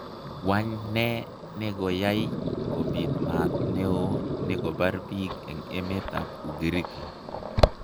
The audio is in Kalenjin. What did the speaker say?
Wany nee negoyaai kobit maat neeo neko bar piik en emet ab Ugiriki?